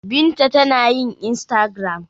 Binta tana yin instagram.